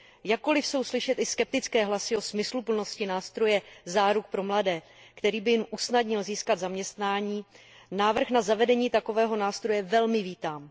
Jakkoliv jsou slyšet i skeptické hlasy o smysluplnosti nástroje záruk pro mladé lidi, který by jim usnadnil získat zaměstnání, návrh na zavedení takového nástroje velmi vítám.